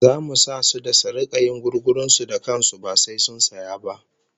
Zamu sa su da su rika yin gugurun su da kan su ba sai sun saya ba